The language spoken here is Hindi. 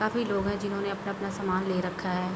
काफ़ी लोग हैं जिन्होंने अपना-अपना समान ले रखा है।